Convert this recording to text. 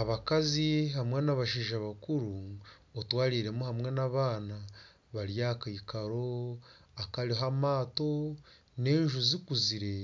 Abakazi hamwe n'abashaija bakuru otwariiremu hamwe n'abaana bari aha kaikaro akariho amaato n'enju zikuzire